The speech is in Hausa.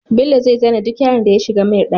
Bello zai zane duk yaron da ya shigar mai ɗaki